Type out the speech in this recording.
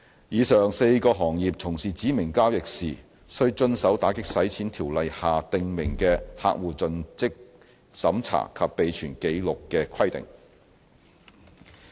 以上4個行業從事指明交易時，須遵守《條例》下訂明的客戶作盡職審查及備存紀錄的規定。